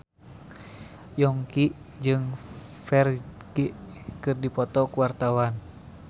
Yongki jeung Ferdge keur dipoto ku wartawan